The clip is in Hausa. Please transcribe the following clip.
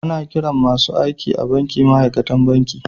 Ana kiran masun aiki a'banki ma'aikatan banki.